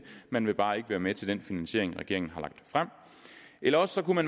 man vil bare ikke være med til den finansiering regeringen har lagt frem eller også kunne